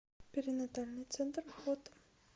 перинатальный центр фото